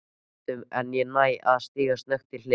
ar höndum en ég næ að stíga snöggt til hliðar.